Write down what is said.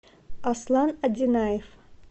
аслан одинаев